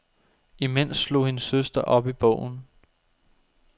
Imens slog hendes søster op i bogen.